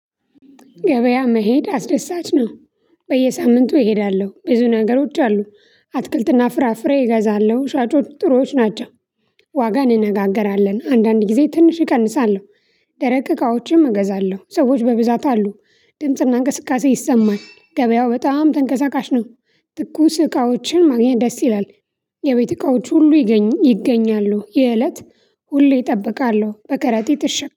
ገበያ መሄድ አስደሳች ነው። በየሳምንቱ እሄዳለሁ ብዙ ነገሮች አሉ። አትክልትና ፍራፍሬ እገዛለሁ ሻጮች ጥሩዎች ናቸው። ዋጋን እነጋገራለን አንዳንድ ጊዜ ትንሽ እቀንሳለሁ። ደረቅ እቃዎችም እገዛለሁ ሰዎች በብዛት አሉ። ድምጽና እንቅስቃሴ ይሰማል ገበያው በጣም ተንቀሳቃሽ ነው። ትኩስ እቃዎችን ማግኘት ደስ ይላል። የቤት እቃዎች ሁሉ ይገኝ ይገኛሉ የእለት ሁሌ እጠብቃለሁ በከረጢ ትሽ